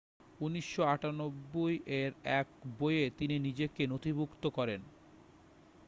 1998 এর এক বইয়ে তিনি নিজেকে নথিভুক্ত করেন